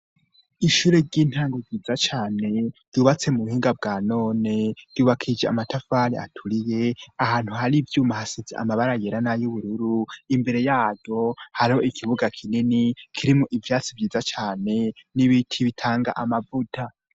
Ishure ry'intango ryiza cane ryubatse mu buhinga bwa none ryubakije amatafari aturiye ahantu hari ivyuma hasize amabara yera na y'ubururu imbere yaryo hariho ikibuga kinini kirimwo ivyatsi vyiza cane n'ibiti bitanga amavuta.